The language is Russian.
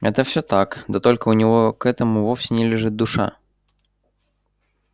это все так да только у него к этому вовсе не лежит душа